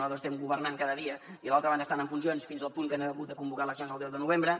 nosaltres estem governant cada dia i a l’altra banda estan en funcions fins al punt que han hagut de convocar eleccions el deu de novembre